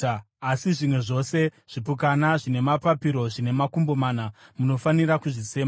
Asi zvimwe zvose zvipukanana zvine mapapiro zvine makumbo mana munofanira kuzvisema.